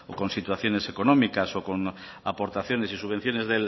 con situaciones económicas o con aportaciones y subvenciones